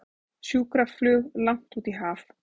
Sjúkraflug langt út í haf